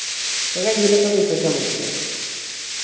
ഇപ്പൊ കയ്യിലൊക്കെ paisa വെക്കാൻ പറ്റൂല്ലേ